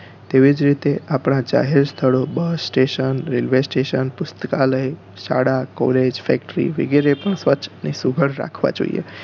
તેવીજ રીતે આપણા જાહેર સ્થળો બસ station રેલવે station પુસ્તકાલય શાળા college factory ઓ વગેરે પણ સ્વચ્છ અને સુદ્ધાર રાખવા જોઈએ